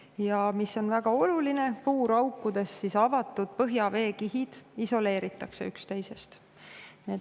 Ja mis on väga oluline: puuraukudes avatud põhjaveekihid isoleeritakse üksteisest.